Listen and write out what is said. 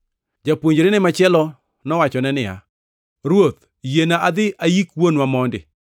Japuonjrene machielo nowachone niya, “Ruoth, yiena adhi ayik wuonwa mondi.”